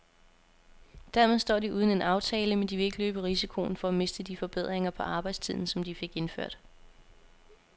Dermed står de uden en aftale, men de vil ikke løbe risikoen for at miste de forbedringer på arbejdstiden, som de fik indført.